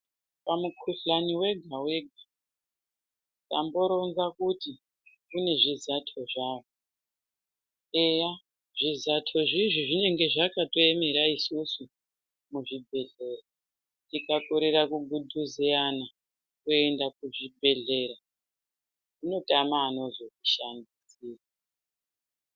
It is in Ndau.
Pamukhuhlani wega wega tamboronza kuti une zvizato zvawo. Eya zvizato zvizvi zvinenge zvakatoemera isusu muzvibhedhlera. Tikakorera kugudhuzeyana kuenda kuzvibhedhlera zvinozotama unozvishanda.